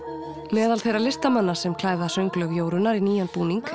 meðal þeirra listamanna sem klæða sönglög Jórunnar í nýjan búning